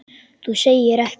Þú segir ekki.